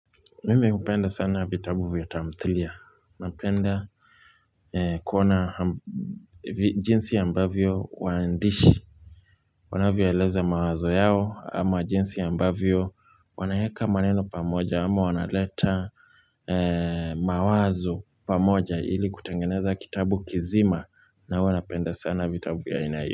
Mimi hupenda sana vitabu vya tamthilia. Napenda kuona jinsi ambavyo wahandishi. Wanavyo eleza mawazo yao ama jinsi ambavyo wanayaeka maneno pamoja ama wanaleta mawazo pamoja ili kutengeneza kitabu kizima na huwa napenda sana vitabu vya aina hiyo.